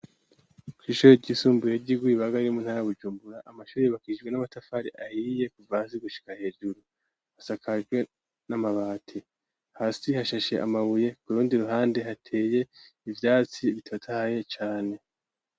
Kw'ishore ry'isumbuye ry'iguyeibaga rimu ntarabujumbura amashoro ibakishijwe n'amatafari ahiriye kuvasi gushika hejuru hasakajwe n'amabati hasi hashashe amabuye kurundi ruhande hateye ivyatsi bitatahye cane.